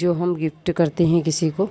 जो हम गिफ्ट करते हैं किसी को --